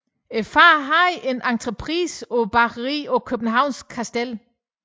Faren havde en entreprise på bageriet på Københavns Kastel